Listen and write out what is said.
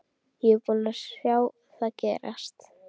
Ég er búinn að sjá það gerast.